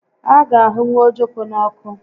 A ga ahụnwụ ojoko n'ọkụ